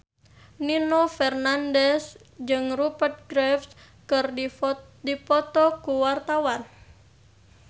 Nino Fernandez jeung Rupert Graves keur dipoto ku wartawan